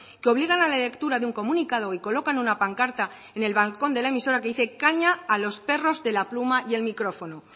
que obligan a la lectura de un comunicado y colocan una pancarta en el balcón de la emisora que dice caña a los perros de la pluma y el micrófono